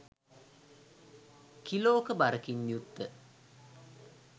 කිලෝක බරකින් යුත්ත